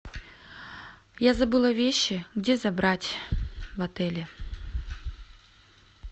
я забыла вещи где забрать в отеле